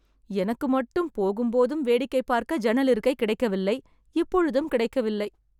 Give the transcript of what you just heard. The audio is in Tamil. எனக்கு மட்டும் போகும்போதும் வேடிக்கை பார்க்க ஜன்னல் இருக்கை கிடைக்கவில்லை, இப்பொழுதும் கிடைக்கவில்லை..